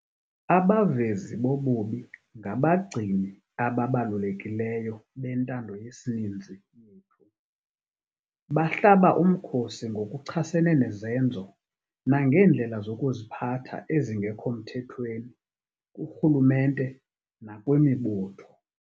Abavezi bobubi ngabagcini ababalulekileyo bentando yesininzi yethu. Bahlaba umkhosi ngokuchasene nezenzo nangeendlela zokuziphatha ezingekho mthethweni kurhulumente nakwimibutho.